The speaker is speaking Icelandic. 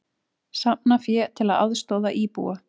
Safna fé til að aðstoða íbúa